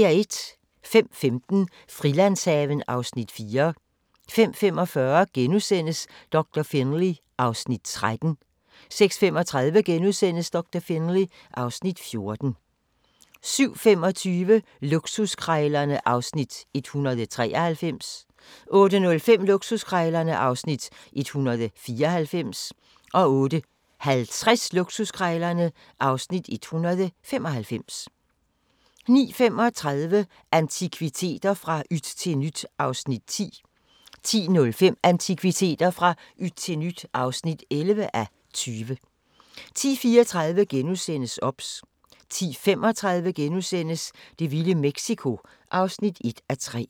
05:15: Frilandshaven (Afs. 4) 05:45: Doktor Finlay (Afs. 13)* 06:35: Doktor Finlay (Afs. 14)* 07:25: Luksuskrejlerne (Afs. 193) 08:05: Luksuskrejlerne (Afs. 194) 08:50: Luksuskrejlerne (Afs. 195) 09:35: Antikviteter – fra yt til nyt (10:20) 10:05: Antikviteter – fra yt til nyt (11:20) 10:34: OBS * 10:35: Det vilde Mexico (1:3)*